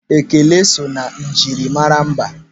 Ekele so na njirimara mba.